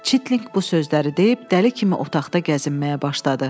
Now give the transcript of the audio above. Çitlinq bu sözləri deyib dəli kimi otaqda gəzinməyə başladı.